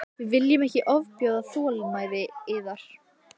Við viljum ekki ofbjóða þolinmæði yðar.